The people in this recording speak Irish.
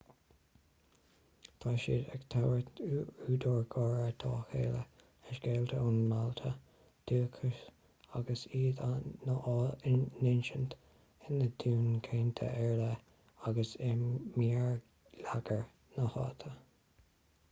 tá siad ag tabhairt údar gáire dá chéile le scéalta ón mbailte dúchais agus iad á n-insint ina dtuin chainte ar leith agus i mbéarlagair na háite